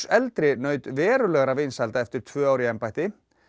eldri naut verulegra vinsælda eftir tvö ár í embætti